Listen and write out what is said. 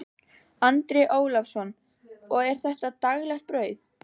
Andri Ólafsson: Og er þetta daglegt brauð?